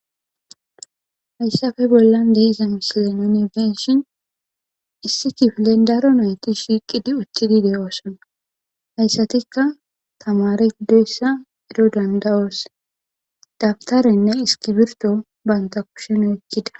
Haysappe bollan de'za misile nuni be'ashn issi kifilen daro nayti shiiqidi utidi de'osona, haysatika tamare gidoysa ero danda'os, dawutarenne iskirto banta kusheni oykida.